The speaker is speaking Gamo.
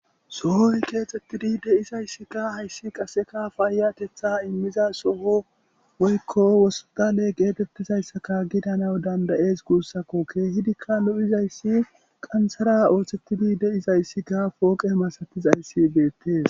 sohoy keexxettidi de7izayssikka hayssi qaseka faayatetha immiza soho woykko wosstale geetettizayssaka gidana dandayes guussakko keehidikka lo7izayssi qanthara ooththettidi deizayssikka pooqe masatizayssi deettes